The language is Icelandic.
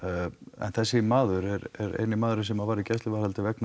en þessi maður er eini maðurinn sem var í gæsluvarðhaldi vegna